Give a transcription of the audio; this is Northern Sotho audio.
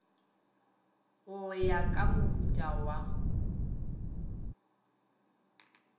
go ya ka mohuta wa